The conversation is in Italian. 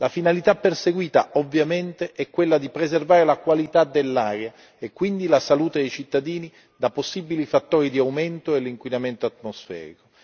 La finalità perseguita, ovviamente, è quella di preservare la qualità dell'aria e quindi la salute dei cittadini da possibili fattori di aumento dell'inquinamento atmosferico.